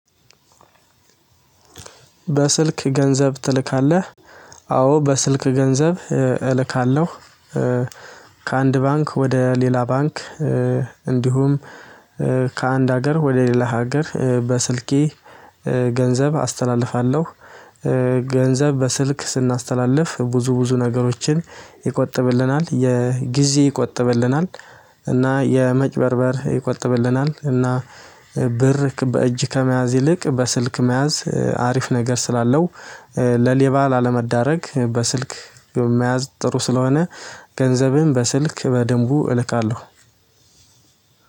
በስልክ ገንዘብ ትልካለህ አዎ በስልክ ገንዘብ እልካለሁ። ከአንድ ባንክ ወደ ሌላ ባንክ። እንዲሁም ከአንድ ሀገር ወደ ሌላ ሀገር በስልኬ ገንዘብ አስተላልፋለሁ። ገንዘብ በስልክ ስናስተላልፍ ብዙ ብዙ ነገሮችን ይቆጥብልናል የጊዜ ይቆጥብልናል። እና የመጭበርበር ይቆጥብልናል እና ብር በእጅ ከመያዝ ይልቅ በስልክ መያዝ አሪፍ ነገር ስላለው። ለሌባ ላለመዳረግ በስልክ መያዝ ጥሩ ስለሆነ። ገንዘብህን በስልክ በደንቡ እልካለሁ።